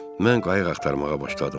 Mən qayıq axtarmağa başladım.